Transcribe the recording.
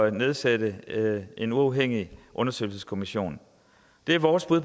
at nedsætte en uafhængig undersøgelseskommission det er vores bud